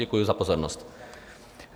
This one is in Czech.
Děkuji za pozornost.